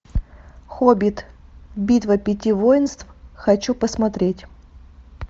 хоббит битва пяти воинств хочу посмотреть